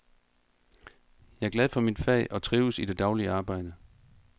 Jeg er glad for mit fag og trives i det daglige arbejde.